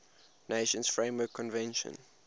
nations framework convention